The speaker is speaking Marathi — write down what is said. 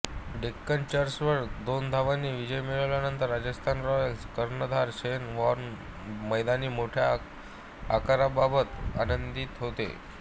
डेक्कन चार्जर्सवर दोनधावांनी विजय मिळवल्यानंतर राजस्थान रॉयल्सचा कर्णधार शेन वॉर्न मैदानाची मोठ्या आकाराबाबत आनंदित होता